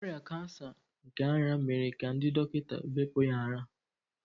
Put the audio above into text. Ọrịa kansa nke ara mere ka ndị dọkịta bepụ ya ara.